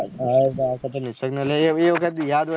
હા આ વખત તો નિસર્ગ ને લયીયે.